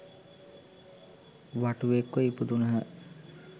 වටුවෙක් ව ඉපදුණහ.